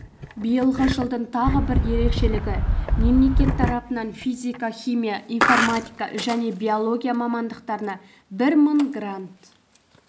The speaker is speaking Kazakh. биылғы жылдың тағы бір ерекшелігі мемлекет тарапынан физика химия информатика және биология мамандықтарына бір мың грант